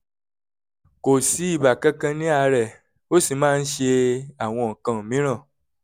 kò sí ibà kankan lára rẹ̀ ó sì máa ń ṣe àwọn nǹkan mìíràn